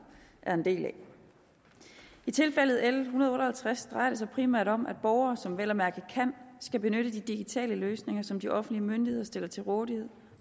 er en del af i tilfældet l en hundrede og halvtreds drejer det sig primært om at borgere som vel at mærke kan skal benytte de digitale løsninger som de offentlige myndigheder stiller til rådighed